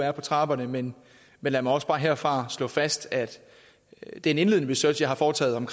er på trapperne men lad mig også bare herfra slå fast at den indledende research jeg har foretaget